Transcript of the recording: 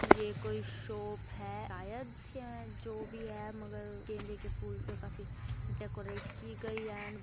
ये कोई शोप है। आयद यां जो भी है मगर गेंदे के फूल से काफी डेकोरेट की गई एंड --